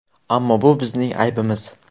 Ammo bu bizning aybimiz.